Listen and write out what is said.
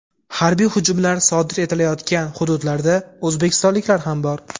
harbiy hujumlar sodir etilayotgan hududlarda o‘zbekistonliklar ham bor.